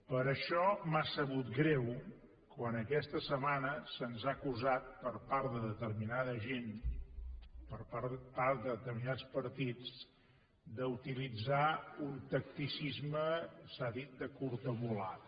per això m’ha sabut greu quan aquesta setmana se’ns ha acusat per part de determinada gent per part de determinats partits d’utilitzar un tacticisme s’ha dit de curta volada